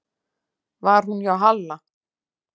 Var hún hjá Halla?